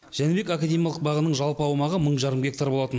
жәнібек академиялық бағының жалпы аумағы мың жарым гектар болатын